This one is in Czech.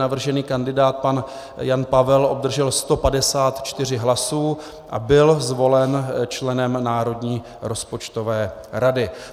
Navržený kandidát pan Jan Pavel obdržel 154 hlasů a byl zvolen členem Národní rozpočtové rady.